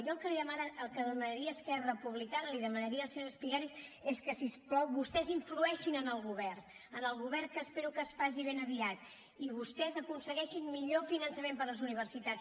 jo el que demanaria a esquerra republicana l’hi demanaria a la senyora espigares és que si us plau vostès influeixin en el govern en el govern que espero que es faci ben aviat i vostès aconsegueixin millor finançament per a les universitats